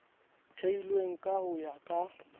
theilweng ka ho ya ka